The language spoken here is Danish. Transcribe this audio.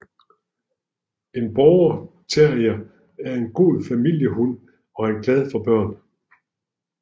En Border terrier er en god familiehund og er glad for børn